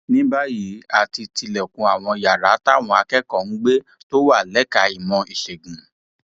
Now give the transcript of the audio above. ní báyìí a ti tilẹkùn àwọn yàrá táwọn akẹkọọ ń gbé tó wà lẹka ìmọ ìṣègùn